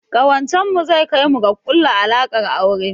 Ƙawancen mu zai kai mu ga ƙulla alaƙar aure